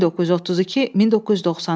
1932-1994.